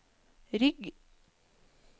rygg